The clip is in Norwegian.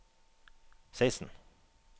seksten